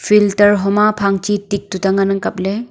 filter huma phang chi tik tuita ngan ang kapley.